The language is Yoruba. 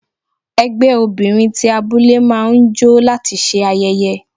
Ẹgbẹ́ obìnrin ti abúlé máa ń jó láti ṣe ayẹyẹ.